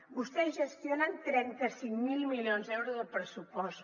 vostès gestionen trenta cinc mil milions d’euros de pressupost